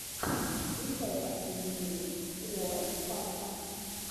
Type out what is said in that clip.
включай последний выпуск уор паса